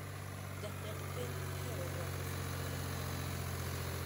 Jatend piny oero rwako sut mar kaunda